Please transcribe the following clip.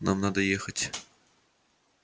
нам надо ехать